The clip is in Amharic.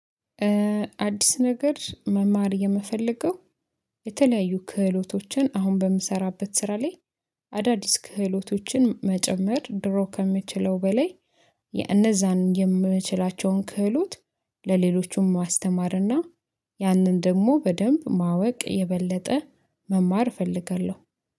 አዲስ ነገር መማር የምፈልገው የተለያዩ ክህሎቶችን አሁን በምሰራበት ስራ ላይ አዳዲስ ክህሎቶችን መጨመር ድሮ ከምችለው በላይ የእነዛን የምችላቸውን ክህሎት ለሌሎቹም ማስተማርና ያንን ደግሞ በደንብ ማወቅ የበለጠ መማር እፈልጋለሁ